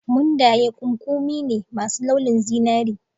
Mundayen ƙuƙumi ne masu launin zinari.